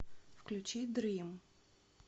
включи дрим